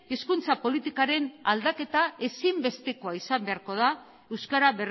hizkuntza politikaren aldaketa ezinbestekoa izan beharko da euskara